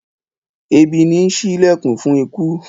Ebì nì sí ìlẹkùn fun ikú